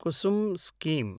Kusum scheme